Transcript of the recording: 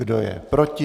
Kdo je proti?